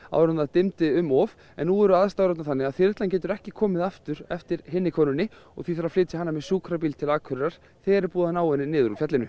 áður en dimmdi um of en nú eru aðstæður orðnar þannig að þyrlan getur ekki komið aftur eftir hinni konunni og því þarf að flytja hana með sjúkrabíl til Akureyrar þegar er búið að ná henni niður úr fjallinu